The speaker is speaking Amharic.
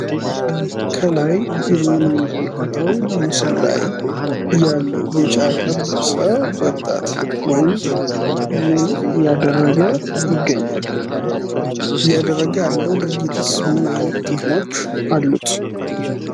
ከላይ በምስሉ ላይ የምናየው ቢጫ የለበሰው ወጣት ወንድ ምን አያደረግ ነው፧ እያደረገ ያለው ድርጊትሥ ምን ጥቅም አሉት ፧